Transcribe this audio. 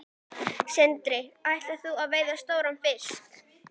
Sindri: Og ætlar þú að veiða stóran fisk?